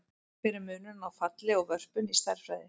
Hver er munurinn á falli og vörpun í stærðfræði?